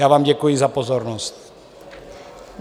Já vám děkuji za pozornost.